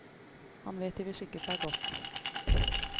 Han vet de vil skikke seg godt.